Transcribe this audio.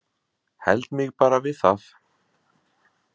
Held mig bara við það.